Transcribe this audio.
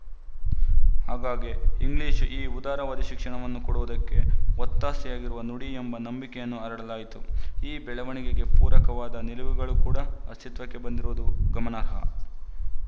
ಹಾಗಾಗಿ ಇಂಗ್ಲಿಶು ಈ ಉದಾರವಾದಿ ಶಿಕ್ಷಣವನ್ನು ಕೊಡುವುದಕ್ಕೆ ಒತ್ತಾಸೆಯಾಗಿರುವ ನುಡಿ ಎಂಬ ನಂಬಿಕೆಯನ್ನು ಹರಡಲಾಯಿತು ಈ ಬೆಳವಣಿಗೆಗೆ ಪೂರಕವಾದ ನಿಲುವುಗಳು ಕೂಡ ಅಸ್ತಿತ್ವಕ್ಕೆ ಬಂದಿರುವುದು ಗಮನಾರ್ಹ